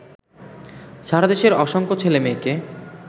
সারাদেশের অসংখ্যা ছেলেমেয়েকে